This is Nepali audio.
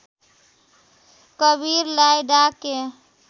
कवीरलाई डाके